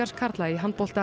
karla í handbolta